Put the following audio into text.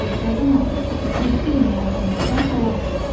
Hadisə zamanı 7000-ə yaxın insan həlak oldu.